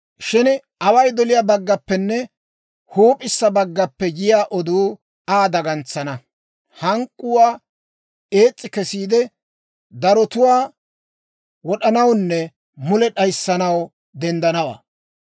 «Shin away doliyaa baggaappenne huup'issa baggaappe yiyaa oduu Aa dagantsana; hank'k'uwaa ees's'i kesiide, darotuwaa wod'anawunne mule d'ayissanaw denddanawaa.